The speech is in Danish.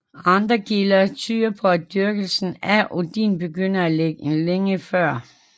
Andre kilder tyder på at dyrkelsen af Odin begyndte længe før